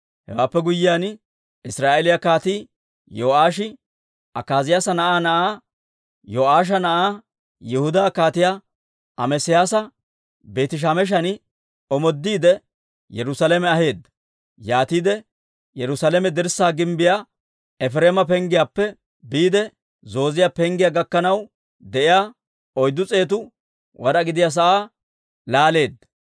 Hewaappe guyyiyaan, Israa'eeliyaa Kaatii Yo'aashi Akaaziyaasa na'aa na'aa, Yo'aasha na'aa, Yihudaa Kaatiyaa Amesiyaasa Beeti-Shemeshan omoodiide, Yerusaalame aheedda. Yaatiide Yerusaalame dirssaa gimbbiyaa, Efireema Penggiyaappe biide Zooziyaa Penggiyaa gakkanaw de'iyaa, oyddu s'eetu wad'aa gidiyaa sa'aa laaleedda.